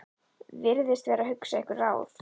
Virðist vera að hugsa einhver ráð.